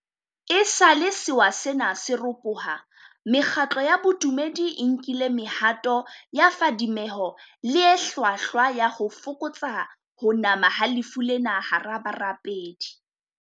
Esale sewa sena se ropoha, mekgatlo ya bo dumedi e nkile mehato ya phadimeho le e hlwahlwa ya ho fokotsa ho nama ha lefu lena hara barapedi.